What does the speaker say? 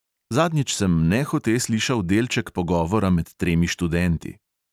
Zadnjič sem nehote slišal delček pogovora med tremi študenti.